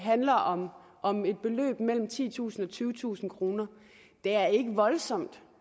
handler om om et beløb mellem titusind og tyvetusind kroner det er ikke voldsomt